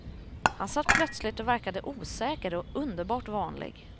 Han satt plötsligt och verkade osäker och underbart vanlig.